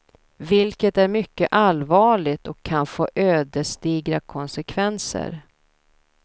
Vilket är mycket allvarligt och kan få ödesdigra konsekvenser.